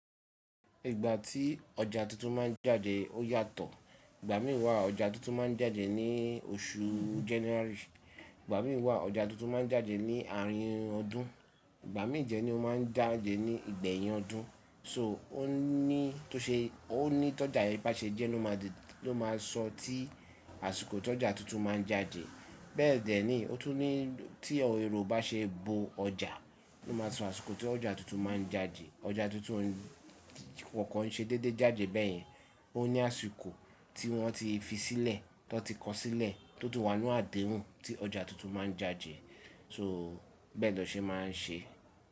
Ìgbà tí ọjà tuntun má ń jáde ó yàtọ̀. Ìgbà mìí wa ọjà tuntun má ń jáde ní oṣù January. Ìgbà mìí wa ọjà tuntun má ń jáde ní àárín ọdún. Ìgbà mii de ni ó má ń jáde ní ìgbẹ̀yìn ọdún. So ó ní tó ṣe ó ní tọ́jà yii bá ṣe jẹ́ ló má sọ tí àsìkò tí ọjà tuntun má ń jáde. Bẹ́ẹ̀dẹ́ ni ó tún ní tí ẹro bá ṣe bo ọjà ló máa sọ àsìkò tí ọjà tuntun má ń jáde. Ọjà tuntun kokan ṣe déédéé jáde bẹ́ẹ̀yẹn, ó ní àsìkò tí wọ́n ti fi sílẹ̀, tó ti kọ sílẹ̀, tó ti wà nínú àdéhùn tí ọjà tuntun má ń jáde. So bẹ́ẹ̀ lọ ṣe má ń ṣe.